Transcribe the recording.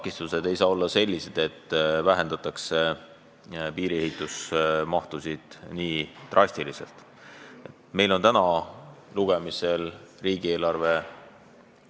Nimelt, üldine arusaam oli, et me püüame neli aastat järjest igal aastal 20 miljonit idapiiri ehitusse panustada ja kui vaja, siis tuleb ka inimtööjõudu täiendavalt võtta selleks, et need plaanid kõik realiseeruksid.